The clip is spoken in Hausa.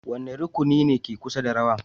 Wane rukuni ne ke kusa da rawa?